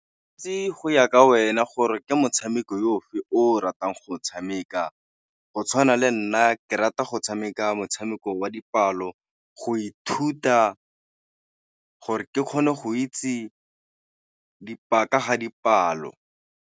go ya ka wena gore ke motshameko yo fe o ratang go tshameka, go tshwana le nna ke rata go tshameka motshameko wa dipalo go ithuta gore ke kgone go itse ka ga dipalo.